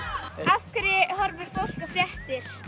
af hverju horfir fólk á fréttir